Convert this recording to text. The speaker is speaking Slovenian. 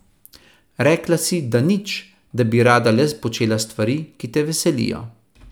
Rekla si, da nič, da bi rada le počela stvari, ki te veselijo.